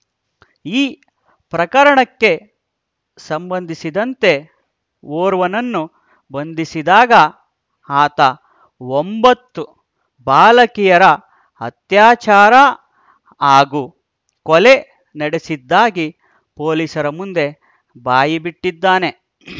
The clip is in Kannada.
ಈ ಪ್ರಕರಣಕ್ಕೆ ಸಂಬಂಧಿಸಿದಂತೆ ಓರ್ವನನ್ನು ಬಂಧಿಸಿದಾಗ ಆತ ಒಂಬತ್ತು ಬಾಲಕಿಯರ ಅತ್ಯಾಚಾರ ಹಾಗೂ ಕೊಲೆ ನಡೆಸಿದ್ದಾಗಿ ಪೊಲೀಸರ ಮುಂದೆ ಬಾಯಿಬಿಟ್ಟಿದ್ದಾನೆ